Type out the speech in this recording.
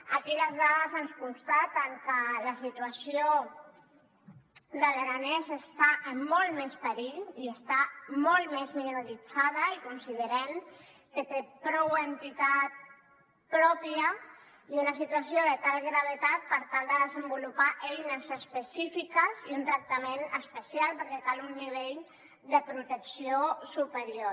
aquí les dades ens constaten que la situació de l’aranès està en molt més perill i està molt més minoritzada i considerem que té prou entitat pròpia i una situació de tal gravetat per tal de desenvolupar eines específiques i un tractament especial perquè cal un nivell de protecció superior